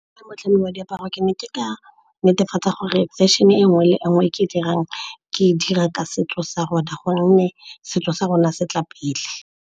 Ke le motlhami wa diaparo, ke ne ke ka netefatsa gore fashion-e nngwe le nngwe e ke dirang, ke dira ka setso sa rona gonne setso sa rona se tla pele.